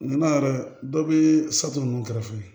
Ɲina yɛrɛ dɔ bɛ satu ninnu kɛrɛfɛ